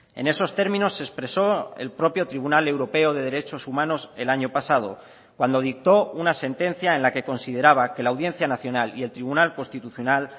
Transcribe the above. en esos términos se expresó el propio tribunal europeo de derechos humanos el año pasado cuando dictó una sentencia en la que consideraba que la audiencia nacional y el tribunal constitucional